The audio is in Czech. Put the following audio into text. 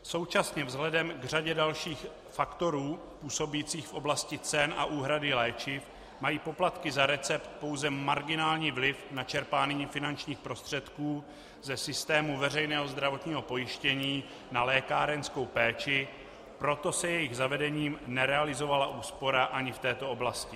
Současně vzhledem k řadě dalších faktorů působících v oblasti cen a úhrady léčiv mají poplatky za recept pouze marginální vliv na čerpání finančních prostředků ze systému veřejného zdravotního pojištění na lékárenskou péči, proto se jejich zavedením nerealizovala úspora ani v této oblasti.